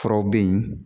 Furaw bɛ yen